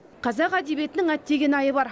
қазақ әдебиетінің әттегенайы бар